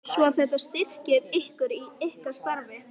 Hafsteinn Hauksson: Svo þetta styrkir ykkur í ykkar starfi?